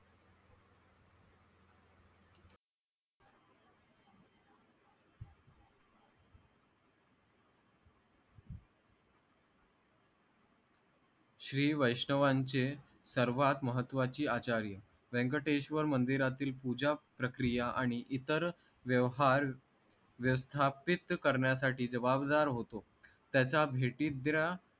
श्री वैष्णवांचे सर्वात महत्वाची आचार्य व्यंकटेश्वर मंदिरातील पूजा प्रक्रिया आणि इतर व्यवहार व्यथापित करन्यासाठी जबाबदार होतो त्याच्या भेटीत